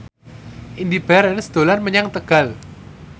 Indy Barens dolan menyang Tegal